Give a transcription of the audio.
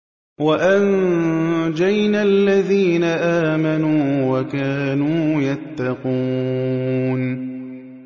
وَأَنجَيْنَا الَّذِينَ آمَنُوا وَكَانُوا يَتَّقُونَ